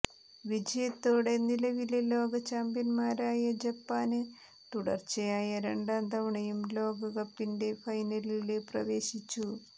വിജയത്തോടെ നിലവിലെ ലോകചാമ്പ്യന്മാരായ ജപ്പാന് തുടര്ച്ചയായ രണ്ടാം തവണയും ലോകകപ്പിന്റെ ഫൈനലില് പ്രവേശിച്ചു